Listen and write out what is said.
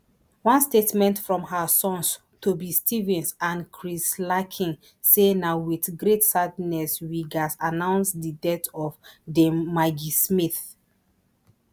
one statement from her sons toby stephens and chris larkin say na wit great sadness we gatz announce di death of dame maggie smith